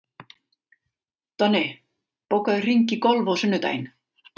Donni, bókaðu hring í golf á sunnudaginn.